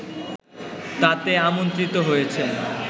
তাতে আমন্ত্রিত হয়েছেন